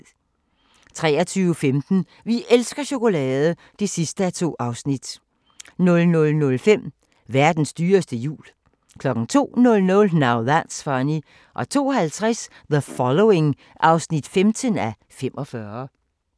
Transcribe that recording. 23:15: Vi elsker chokolade! (2:2) 00:05: Verdens dyreste jul 02:00: Now That's Funny 02:50: The Following (15:45)